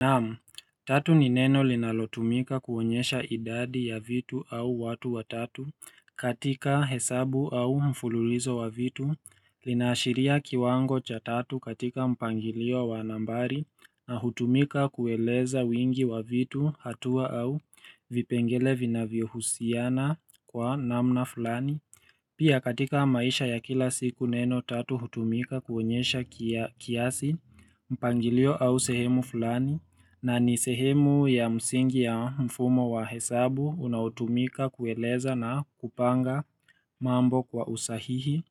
Naam, tatu ni neno linalotumika kuonyesha idadi ya vitu au watu wa tatu katika hesabu au mfululizo wa vitu, linaashiria kiwango cha tatu katika mpangilio wa nambari na hutumika kueleza wingi wa vitu hatua au vipengele vinavyohusiana kwa namna fulani. Pia katika maisha ya kila siku neno tatu hutumika kuonyesha kiasi mpangilio au sehemu fulani na ni sehemu ya msingi ya mfumo wa hesabu unaotumika kueleza na kupanga mambo kwa usahihi.